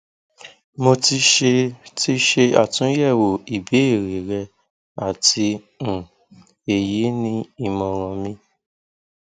mo ti ṣe ti ṣe atunyẹwo ibeere rẹ ati um eyi ni imọran mi